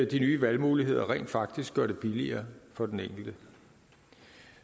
de nye valgmuligheder rent faktisk gør det billigere for den enkelte